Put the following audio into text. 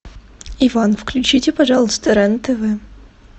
иван включите пожалуйста рен тв